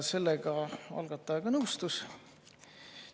Sellega algataja ka nõustus.